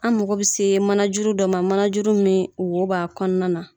An mago bi se manajuru dɔ ma manajuru min wo ba kɔnɔna na